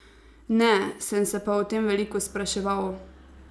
Ne, sem se pa o tem veliko spraševal.